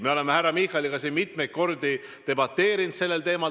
Me oleme härra Michaliga mitmeid kordi sellel teemal debateerinud.